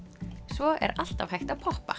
svo er alltaf hægt að poppa